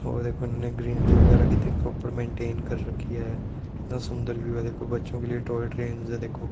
और एक इन्होंने ग्रीनरी वगैर कितनी प्रॉपर मेंटेन कर रखी है कितना सुंदर व्यू है देखो बच्चों के लिए टॉय ट्रेंस है देखो--